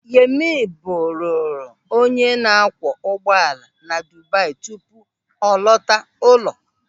Yemi bụ buru onye na-akwọ ụgbọala na Dubai tupu ọ lọta ụlọ.